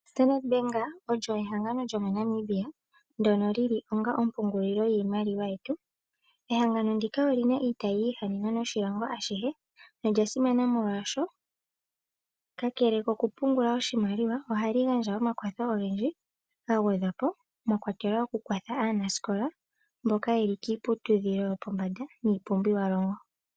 Stadard Bank olyo ehangano lyomoNamibia ndyono li li onga ompungulilo yiimaliwa yetu. Ehangano ndika oli na iitayi yi ihanena noshilongo ashihe nolya simana molwashoka, kakele kokupungula oshimaliwa ohali gandja omakwatho ogendji ga gwedhwa po mwa kwatelwa okukwathela aanasikola mboka ye li kiiputudhilo yopombanda niipumbiwalongo.